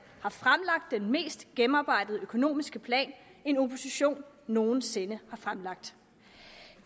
har fremlagt den mest gennemarbejdede økonomiske plan en opposition nogen sinde har fremlagt